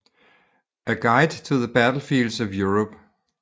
A Guide to the Battlefields of Europe